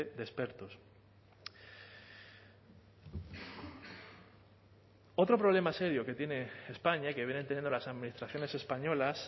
de expertos otro problema serio que tiene españa y que vienen teniendo las administraciones españolas